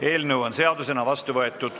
Eelnõu on seadusena vastu võetud.